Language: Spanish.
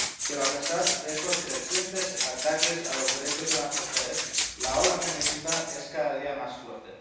Pero, a pesar de estos crecientes ataques a los derechos de las mujeres, la ola feminista es cada día más fuerte.